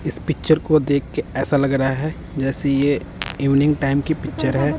इस पिक्चर को देख के ऐसा लग रहा है जैसे ये इवनिंग टाइम की पिक्चर है।